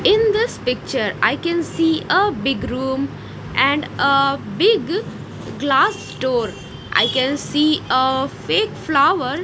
in this picture i can see a big room and a big glass door i can see a fake flower.